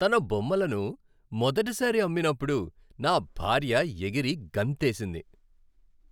తన బొమ్మలను మొదటిసారి అమ్మినప్పుడు నా భార్య ఎగిరి గంతేసింది.